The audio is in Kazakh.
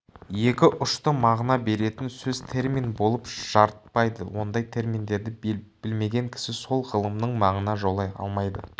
екі ұшты мағына беретін сөз термин болып жарытпайды ондай терминдерді білмеген кісі сол ғылымның маңына жолай алмайды